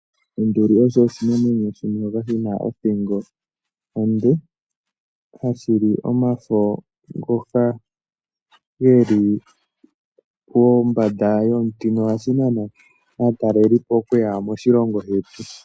Onduli osho oshinamwenyo shimwe shoka shina othingo onde, hashili omafo ngoka geli pombanda yomuti, na ohashi nana aatalelipo okuya moshilongo shetu.